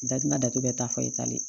Da tina datugu bɛɛ ta fɔ i talen